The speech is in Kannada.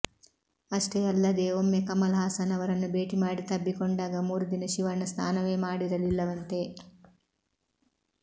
ಅಷ್ಟೇ ಅಲ್ಲದೇ ಒಮ್ಮೆ ಕಮಲ್ ಹಾಸನ್ ಅವರನ್ನು ಭೇಟಿ ಮಾಡಿ ತಬ್ಬಿಕೊಂಡಾಗ ಮೂರು ದಿನ ಶಿವಣ್ಣ ಸ್ನಾನವೇ ಮಾಡಿರಲಿಲ್ಲವಂತೆ